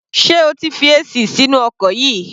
Sé o ti fi AC sínú ọkọ̀ yìí?